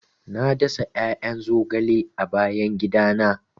Na dasa 'ya'yan zogale a bayan gidana.